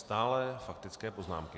Stále faktické poznámky.